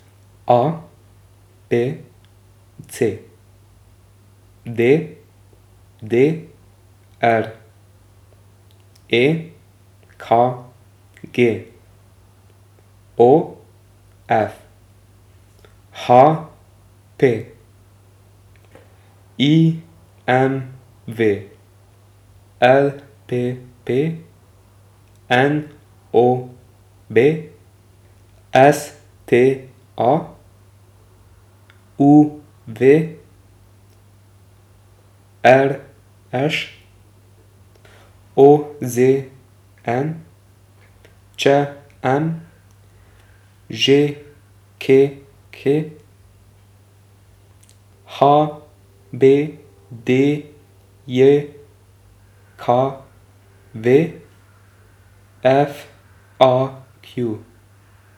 A B C; D D R; E K G; O F; H P; I M V; L P P; N O B; S T A; U V; R Š; O Z N; Č M; Ž K K; H B D J K V; F A Q.